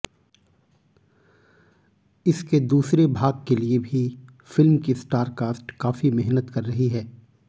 इसके दूसरे भाग के लिए भी फिल्म की स्टार कास्ट काफी मेहनत कर रही है